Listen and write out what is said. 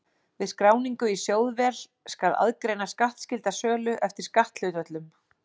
Við skráningu í sjóðvél skal aðgreina skattskylda sölu eftir skatthlutföllum.